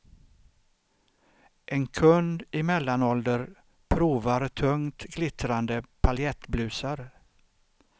En kund i mellanålder provar tungt glittrande paljettblusar.